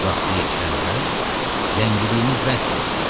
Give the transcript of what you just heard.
Vaxtı yetişəndə ləngidiyimiz bəsdir.